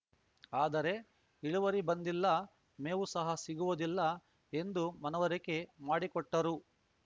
ಆದರೆ ಇಳುವರಿ ಬಂದಿಲ್ಲ ಮೇವು ಸಹ ಸಿಗುವುದಿಲ್ಲ ಎಂದು ಮನವರಿಕೆ ಮಾಡಿಕೊಟ್ಟರು